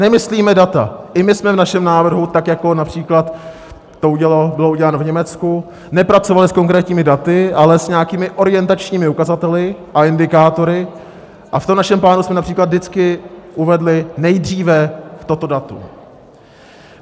Nemyslíme data, i my jsme v našem návrhu, tak jako například to bylo uděláno v Německu, nepracovali s konkrétními daty, ale s nějakými orientačními ukazateli a indikátory, a v tom našem plánu jsme například vždycky uvedli nejdříve toto datum.